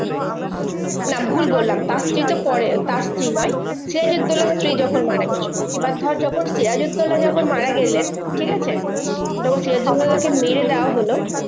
না ভুল বললাম তার স্ত্রী তো পরে তার স্ত্রী নয় সিরাজুদ্দোল্লার স্ত্রী যখন মারা গেছিলো। এবার ধর যখন সিরাজুদ্দোল্লা যখন মারা গেলেন, ঠিকাছে? যখন সিরাজুদ্দোল্লা কে মেরে দেওয়া হলো